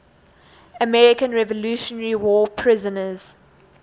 american revolutionary war prisoners